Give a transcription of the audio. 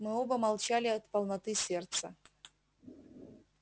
мы оба молчали от полноты сердца